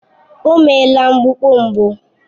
O meela mgbukpọ mbụ